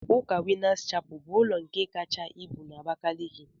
Ụka winners chapel bu ulọ nke kacha ibu na Abakaliki?